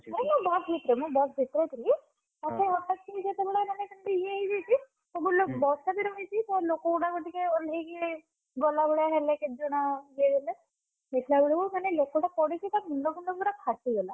ନାଇଁ ମୁଁ ବସ୍ ଭିତରେ ମୁଁ ବସ୍ ଭିତରେ ଥିଲି। ହଠାତ୍ କିନା ଯେତବେଳେ ମାନେ ଯେମିତି ଇଏ ହେଇଯାଇଛି। ସବୁ ଲୋକ ବର୍ଷା ଦିନ ହେଇଛି ସବୁ ଲୋକ ଗୁଡାକ ଟିକେ ଓଲ୍ହେଇକି, ଗଲା ଭଳିଆ ହେଲେ କେତେ ଜଣ ଇଏ ହେଲେ ଦେଖିଲା ବେଳକୁ ମାନେ ଲୋକଟା ପଡ଼ିଚି ତା ମୁଣ୍ଡଫୁଣ୍ଡ ପୁରା ଫାଟିଗଲା।